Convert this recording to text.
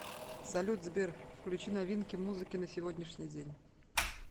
салют сбер включи новинки музыки на сегодняшний день